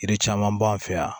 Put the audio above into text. Yiri caman b'an fɛ yan